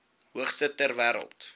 hoogste ter wêreld